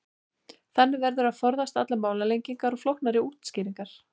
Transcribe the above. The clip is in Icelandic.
Þannig verður að forðast allar málalengingar og flóknari útskýringar.